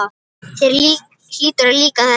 Þér hlýtur að líka þetta?